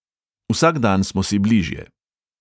Vsak dan smo si bližje.